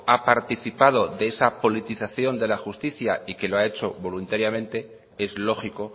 ha participado de esa politización de la justica y que lo ha hecho voluntariamente es lógico